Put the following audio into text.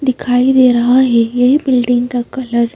दिखाई दे रहा है यह बिल्डिंग का कलर --